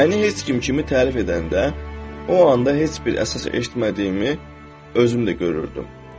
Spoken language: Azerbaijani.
Məni heç kim kimi tərif edəndə, o anda heç bir əsas eşitmədiyimi, özüm də görürdüm.